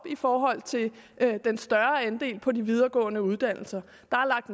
i forhold til den større andel på de videregående uddannelser